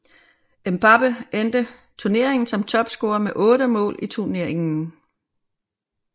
Mbappé endte tuneringen som topscorer med 8 mål i tuneringen